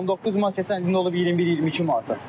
19 manat keçən əl olub 21-22 manata.